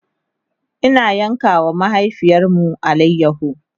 Ina yanka wa mahaifiyarmu alayaho